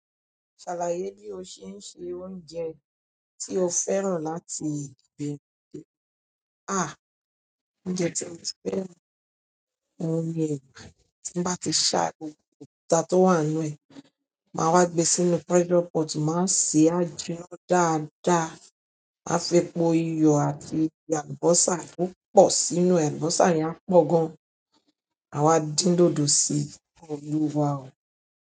Ṣàlàyé bí o ṣe ń sẹ oúnjẹ tí o fẹ́ràn láti gbin. Oúnjẹ tí mo fẹ́ran, òun ni ẹba. Tí ń bá ti ṣá gbogbo, òkúta tó wà nínú ẹ̀, máa wá gbé sínú pressure pot, máa se á jíná dáadáa, máa fi po iyọ̀ àti alubọ́sá púpọ̀ sínú e, alubọ́sá yẹn a pọ̀ gan. Máa wa dín dodọ̀ sí i, olúwa o.